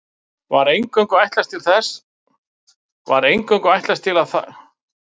Var eingöngu ætlast til að þar væru stúdentar og gestir þeirra.